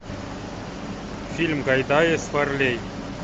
фильм гайдая с варлей